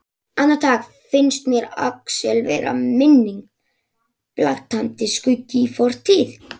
Andartak finnst mér Axel vera minning, blaktandi skuggi í fortíð.